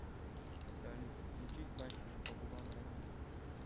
салют включить пальцами по губам рамиль